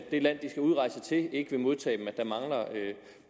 det land de skal udrejse til ikke vil modtage dem og at der mangler